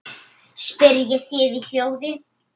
spyrjið þið í hljóði.